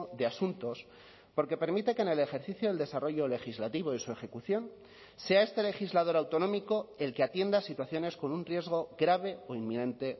de asuntos porque permite que en el ejercicio del desarrollo legislativo y su ejecución sea este legislador autonómico el que atienda a situaciones con un riesgo grave o inminente